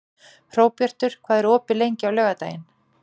Hróbjartur, hvað er opið lengi á laugardaginn?